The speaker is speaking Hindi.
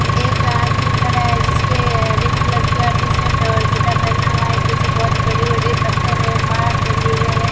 एक आदमी खड़ा है जिसने हरे कलर का टी शर्ट और चड्ढा पहना हुआ है पीछे बहोत बड़े बड़े पत्थर है पहाड़ बने हुए हैं।